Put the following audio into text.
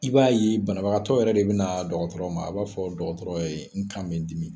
I b'a ye banabagatɔ yɛrɛ de bɛna na dɔgɔtɔrɔ ma, a b'a fɔ dɔgɔtɔrɔ ye , n ka bɛ n dimi.